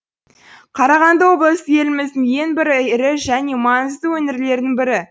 қарағанды облысы еліміздің ең бір ірі және маңызды өңірлерінің бірі